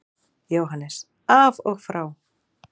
JÓHANNES: Af og frá!